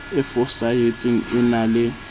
e fosahetseng e na le